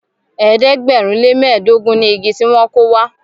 ẹ̀ẹ́dẹ̀gbẹ̀rin le mẹdogun ní ìgi tí wón kọ wà.